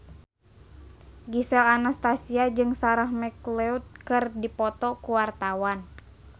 Gisel Anastasia jeung Sarah McLeod keur dipoto ku wartawan